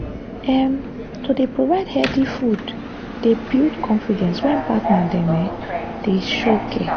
um to dey provide healthy food dey build confidence when partner dem um dey um show care.